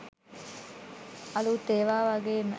අළුත් ඒවා වගේම